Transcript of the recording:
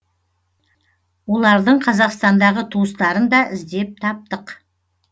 олардың қазақстандағы туыстарын да іздеп таптық